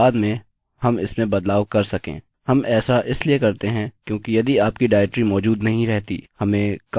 हम ऐसा इसलिए करते हैं क्योंकि यदि आपकी डाइरेक्टरी मौजूद नहीं रहती हमें काफी सारे कोड और एरर मिलेंगे